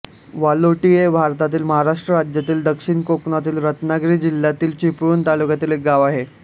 वालोटी हे भारतातील महाराष्ट्र राज्यातील दक्षिण कोकणातील रत्नागिरी जिल्ह्यातील चिपळूण तालुक्यातील एक गाव आहे